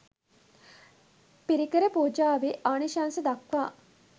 පිරිකර පූජාවේ ආනිශංස දක්වා